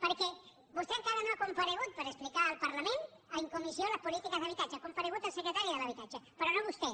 perquè vostè encara no ha comparegut per explicar al parlament en comissió les polítiques d’habitatge ha comparegut el secretari d’habitatge però no vostè